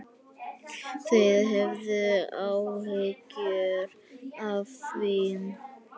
Þið höfðuð áhyggjur af því?